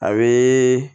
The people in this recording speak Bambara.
A bɛ